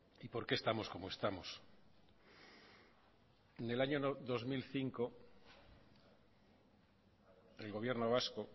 y por qué estamos como estamos en el año dos mil cinco el gobierno vasco